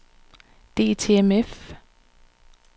DTMF